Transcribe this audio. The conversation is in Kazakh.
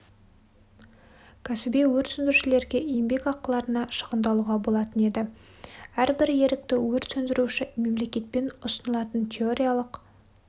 кәсіби өрт сөндірушілерге еңбек ақыларына шығындалуға болатын еді әрбір ерікті өрт сөндіруші мемлекетпен ұсынылатын теориялық